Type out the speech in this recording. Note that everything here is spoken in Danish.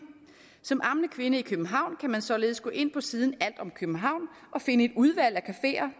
som ammende kvinde i københavn kan man således gå ind på siden alt om københavn og finde et udvalg af cafeer